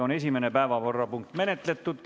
Esimene päevakorrapunkt on menetletud.